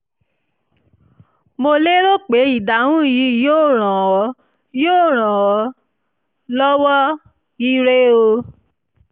mo lérò pé ìdáhùn yìí yóò ràn ọ́ yóò ràn ọ́ lọ́wọ́! ire o!